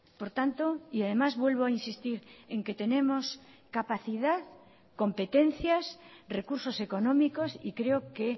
por tanto y además vuelvo a insistir en que tenemos capacidad competencias recursos económicos y creo que